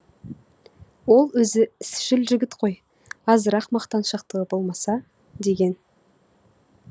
ол өзі ісшіл жігіт қой азырақ мақтаншақтығы болмаса деген